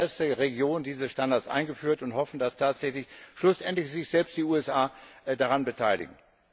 Wir haben als erste Region diese Standards eingeführt und hoffen, dass sich schlussendlich selbst die USA daran beteiligen.